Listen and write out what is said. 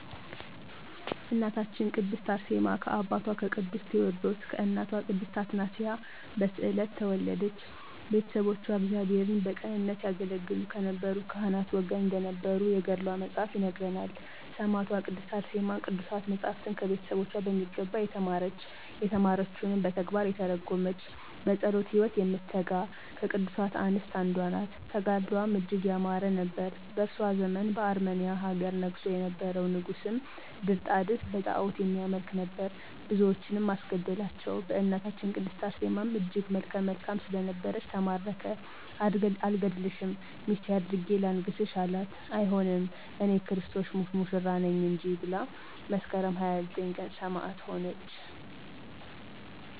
እናታችን ቅድስት አርሴማ ከአባቷ ከቅዱስ ቴወድሮስ ከእናቷ ቅድስት አትናስያ በስዕለት ተወለደች። ቤተሰቦቿ እግዚአብሔርን በቅንነት ያገለገሉ ከነበሩ ካህናት ወገን እንደነበሩ የገድሏ መፅሀፍ ይነግረናል። ሰማዕቷ ቅድስት አርሴማ ቅዱሳት መፃፍትን ከቤተሰቦቿ በሚገባ የተማረች፤ የተማረችዉንም በተግባር የተረጎመች፤ በፀሎት ህይወት የምትተጋ ከቅዱሳት አንስት አንዷ ናት። ተጋድሎዋም እጅግ ያማረ ነበር። በእሷ ዘመን በአርመንያ ሀገር ነግሶ የነበረዉ ንጉስም ድርጣድስ በጣዖትም የሚያመልክ ነበር። ብዙዎችንም አስገደላቸዉ በእናታችን ቅድስት አርሴማም እጅግ መልከ መልካም ስለነበረች ተማረከ አልገድልሽም ሚስቴ አድርጌ ላንግስሽ አላት አይሆንም እኔ<የክርስቶስ ሙሽራ ነኝ >እንጂ ብላ መስከረም 29 ቀን ሰማዕት ሆነች።